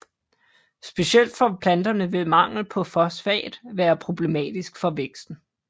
Specielt for planterne vil mangel på fosfat være problematisk for væksten